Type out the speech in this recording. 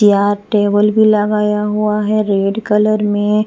तैयार टेबल भी लगाया हुआ है रेड कलर में --